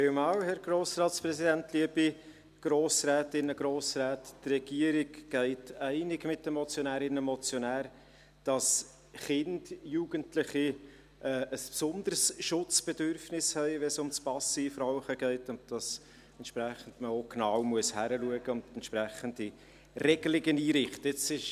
Die Regierung geht einig mit den Motionärinnen und Motionär, dass Kinder und Jugendliche ein besonderes Schutzbedürfnis haben, wenn es um das Passivrauchen geht, und man entsprechend genau hinschauen und entsprechende Regelungen einrichten muss.